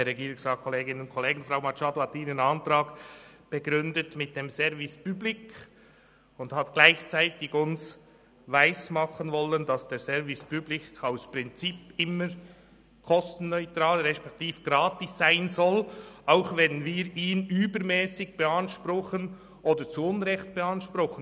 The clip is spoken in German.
Frau Machado hat ihren Antrag mit dem Service public begründet und hat uns gleichzeitig weismachen wollen, dass der Service public aus Prinzip immer kostenneutral respektive gratis sein soll, auch wenn wir ihn übermässig oder zu Unrecht beanspruchen.